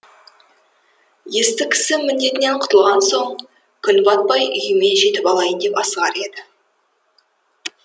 есті кісі міндетінен құтылған соң күн батпай үйіме жетіп алайын деп асығар еді